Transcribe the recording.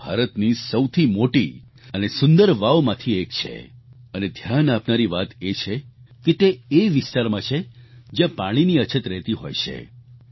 તે ભારતની સૌથી મોટી અને સુંદર વાવમાંથી એક છે અને ધ્યાન આપનારી વાત એ છે કે તે એ વિસ્તારમાં છે જ્યાં પાણીની અછત રહેતી હોય છે